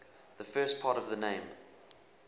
the first part of the name